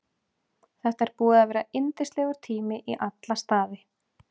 Þetta er búið að vera yndislegur tími í alla staði.